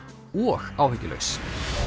og áhyggjulaus